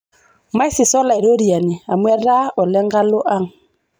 Maisisa Olaitoriani amu etaa ole nkalo ang'.